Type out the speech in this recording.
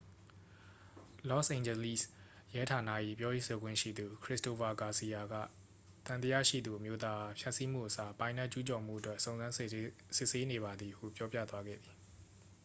လော့စ်အိန်ဂျလိစ် ရဲဌာန၏ ပြောရေးဆိုခွင့်ရှိသူ ခရစ္စတိုဖာဂါစီယာက သံသရှိသူအမျိုးသားအား ဖျက်စီးမှုအစား ပိုင်နက်ကျူးကျော်မှုအတွက် စုံစမ်းစစ်ဆေးနေပါသည်ဟု ပြောပြသွားခဲ့သည်